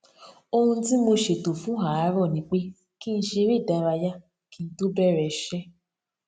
ohun tí mo ṣètò fún àárò ni pé kí n ṣeré ìdárayá kí n tó bẹrẹ iṣé